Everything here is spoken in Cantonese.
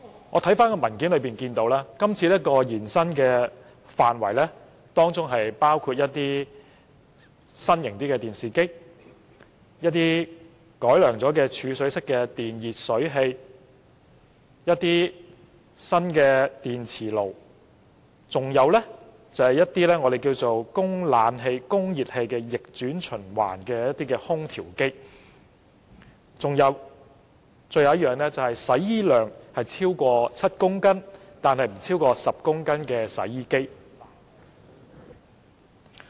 我翻看文件，得悉計劃的範圍將伸延至新型電視機、經改良的儲水式電熱水器、新式電磁爐、具備供暖及製冷功能的逆轉循環空調機及額定洗衣量超過7公斤但不超過10公斤的洗衣機。